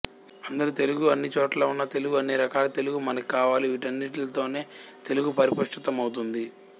అందరి తెలుగూ అన్ని చోట్ల ఉన్న తెలుగూ అన్ని రకాల తెలుగూ మనకి కావాలి వీటన్నిటితోనే తెలుగు పరిపుష్టమౌతుంది